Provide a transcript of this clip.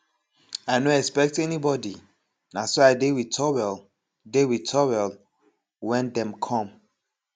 i no expect anybody na so i dey with towel dey with towel when dem come